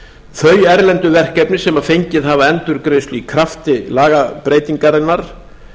þau erlendu verkefni sem fengið hafa endurgreiðslu í krafti lagabreytingarinnar